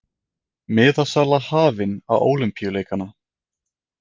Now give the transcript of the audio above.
Miðasala hafin á Ólympíuleikana